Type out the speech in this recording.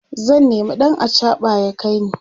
zan nema ɗan achaɓa ya kaini